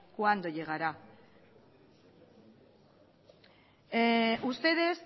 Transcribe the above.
cuándo llegará ustedes